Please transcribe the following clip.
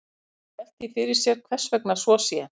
Menn hafa velt því fyrir sér hvers vegna svo sé.